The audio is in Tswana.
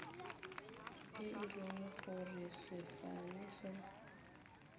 e le gore sefane sa